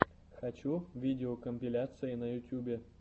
хочу видеокомпиляции на ютьюбе